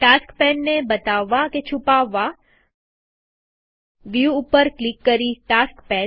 task pane ને બતાવવા કે છુપાવવા વ્યુ ઉપર ક્લિક કરીટાસ્ક પેન